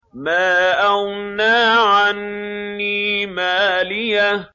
مَا أَغْنَىٰ عَنِّي مَالِيَهْ ۜ